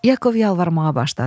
Yakov yalvarmağa başladı.